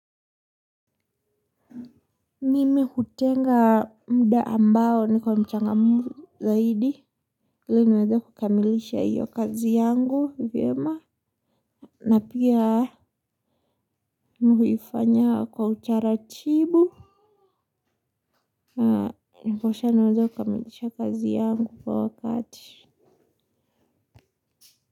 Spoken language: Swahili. Mimi hutenga muda ambao niko mchangamfu zaidi ili niweze kukamilisha hiyo kazi yangu vyema na pia mi huifanya kwa utaratibu. Ndiposha niweza kukamilisha kazi yangu kwa wakati.